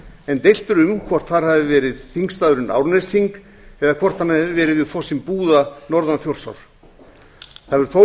en deilt er um hvort þar hafi verið þingstaðurinn árnesþing eða hvort hann hafi verið við fossinn búða norðan þjórsár það hefur þó